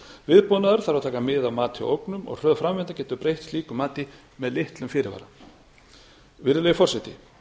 þarf að taka mið af mati og ógnum og hröð framvinda getur breytt slík mati með litlum fyrirvara virðulegi forseti